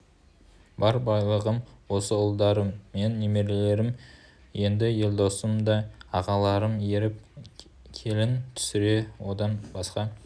бар байлығым осы ұлдарым мен немерелерім енді елдосым да ағаларына еріп келін түсірсе одан басқа